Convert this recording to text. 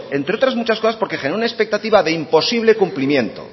entre otras muchas cosas porque genera una expectativa de imposible cumplimiento